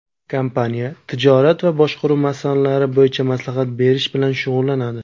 Kompaniya tijorat va boshqaruv masalalari bo‘yicha maslahat berish bilan shug‘ullanadi.